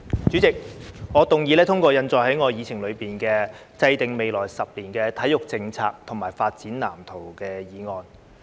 主席，我動議通過印載於議程內的"制訂未來十年體育政策及發展藍圖"議案。